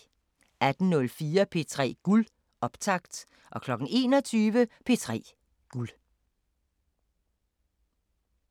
18:04: P3 Guld – optakt 21:00: P3 Guld